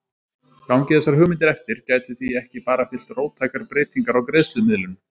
Gangi þessar hugmyndir eftir gætu því ekki bara fylgt róttækar breytingar á greiðslumiðlun.